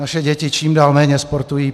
Naše děti čím dál méně sportují.